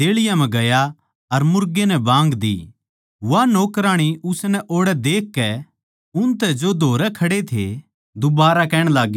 वा नौकराणी उसनै ओड़ै देखकै उनतै जो धोरै खड़े थे दुबारा कहण लाग्गी यो उन म्ह तै एक सै